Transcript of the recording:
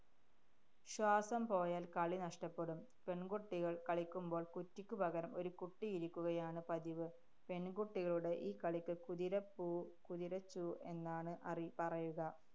ശ്വാസം പോയാല്‍ കളി നഷ്ടപ്പെടും. പെണ്‍കുട്ടികള്‍ കളിക്കുമ്പോള്‍ കുറ്റിക്കു പകരം ഒരു കുട്ടി ഇരിക്കുകയാണ് പതിവ്. പെണ്‍കുട്ടികളുടെ ഈ കളിക്ക് കുതിര പൂ കുതിര ചൂ എന്നാണ് അറിയ പറയുക.